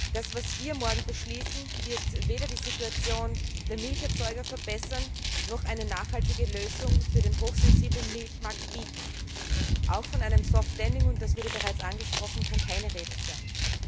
Das, was wir morgen beschließen, wird weder die Situation der Milcherzeuger verbessern, noch eine nachhaltige Lösung für den hochsensiblen Milchmarkt bieten. Auch von einem soft lending und das wurde bereits angesprochen kann keine Rede sein.